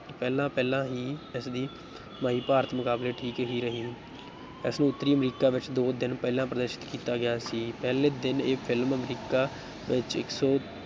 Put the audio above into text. ਪਹਿਲਾਂ ਪਹਿਲਾਂ ਹੀ ਇਸਦੀ ਕਮਾਈ ਭਾਰਤ ਮੁਕਾਬਲੇ ਠੀਕ ਹੀ ਰਹੀ ਇਸਨੂੰ ਉੱਤਰੀ ਅਮਰੀਕਾ ਵਿੱਚ ਦੋ ਦਿਨ ਪਹਿਲਾਂ ਪ੍ਰਦਰਸ਼ਿਤ ਕੀਤਾ ਗਿਆ ਸੀ, ਪਹਿਲੇ ਦਿਨ ਇਹ film ਅਮਰੀਕਾ ਵਿੱਚ ਇੱਕ ਸੌ